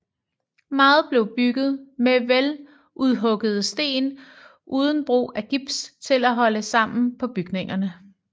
Meget blev bygget med veludhuggede sten uden brug af gips til at holde sammen på bygningerne